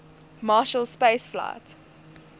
marshall space flight